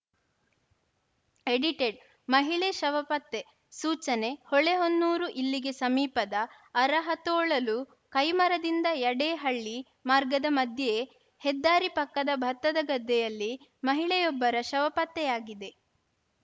edited ಮಹಿಳೆ ಶವ ಪತ್ತೆ ಸೂಚನೆ ಹೊಳೆಹೊನ್ನೂರು ಇಲ್ಲಿಗೆ ಸಮೀಪದ ಅರಹತೊಳಲು ಕೈಮರದಿಂದ ಯಡೇಹಳ್ಳಿ ಮಾರ್ಗದ ಮಧ್ಯೆ ಹೆದ್ದಾರಿ ಪಕ್ಕದ ಭತ್ತದ ಗದ್ದೆಯಲ್ಲಿ ಮಹಿಳೆಯೊಬ್ಬರ ಶವ ಪತ್ತೆಯಾಗಿದೆ